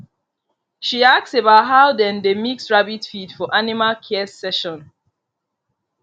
she ask about how dem dey mix rabbit feed for animal care session